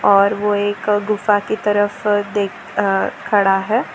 और वो एक गुफा की तरफ देख अ खड़ा है।